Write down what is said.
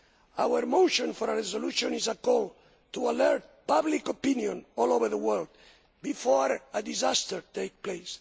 Our motion for a resolution is a call to alert public opinion all over the world before a disaster takes place.